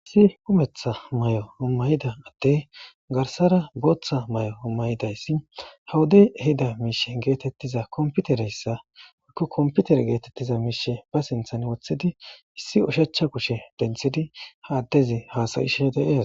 Issi kumetha may'o ummayida atte garsara booththa may'o ummayidayssi hawudey ehida miishe geetettiza komputereyssa woykko komputer geetettiza miishe ba sinthan wothidi issi ushachcha kushe denthidi ha addezi haasayishe deeas.